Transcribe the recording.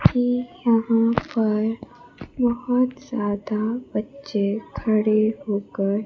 ये यहां पर बहोत ज्यादा बच्चे खड़े होकर--